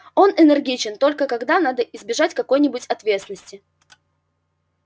он энергичен только когда надо избежать какой-нибудь ответственности